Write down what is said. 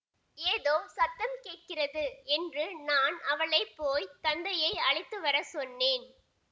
ஏதோ சத்தம் கேட்கிறது என்று நான் அவளை போய் தந்தையை அழைத்து வர சொன்னேன்